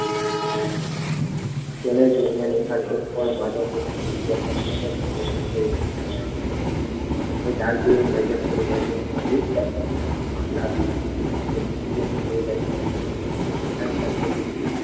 તેને જોઈને રીહાને પણ જાનકીની નજર પણ નજર પડી ત્યારે લાગ્યું કે જાનકીને જોઈ રહ્યો છે